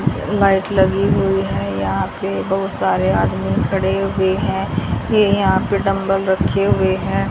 Light लगी हुई है यहां पे बहुत सारे आदमी खड़े हुए हैं ये यहां पे डम्बल रखे हुए हैं।